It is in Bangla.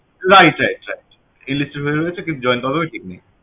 right right right enlisted হয়ে রয়েছে কিন্তু join কবে হবে ঠিক নেই